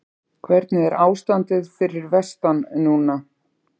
Hvernig er ástandið fyrir vestan núna?